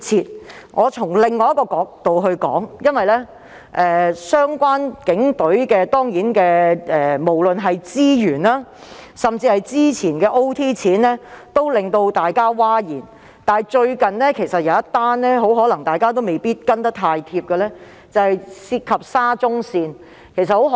讓我從另一角度作出論述，與警隊相關的資源或超時工作津貼問題，均令大眾譁然，但大家可能未必留意到近日一宗涉及沙田至中環綫的事。